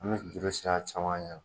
An bɛ juru siri a camancɛ la